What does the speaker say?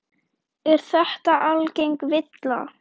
Er þetta algeng villa.